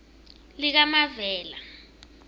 likamavela